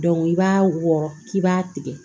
i b'a wɔrɔ k'i b'a tigɛ